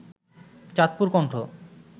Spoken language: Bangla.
চাঁদপুর কণ্ঠ